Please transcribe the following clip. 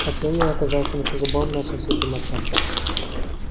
хотя я и оказался не по зубам нашим святым отцам